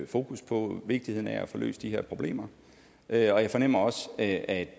fokus på vigtigheden af at få løst de her problemer og jeg fornemmer også at